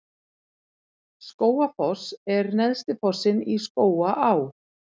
Skógafoss er neðsti fossinn í Skógaá.